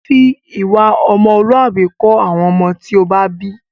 Fi ìwà ọmọlúwàbí kọ́ àwọn ọmọ tí ó bá bí!